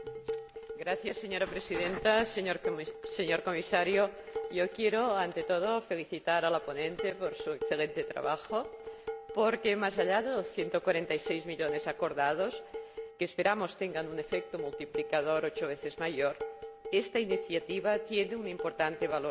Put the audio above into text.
Señora Presidenta, señor Comisario, yo quiero, ante todo, felicitar a la ponente por su excelente trabajo, porque, más allá de los 146 millones acordados, que esperamos tengan un efecto multiplicador ocho veces mayor, esta iniciativa tiene un importante valor simbólico.